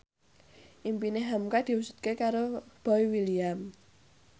impine hamka diwujudke karo Boy William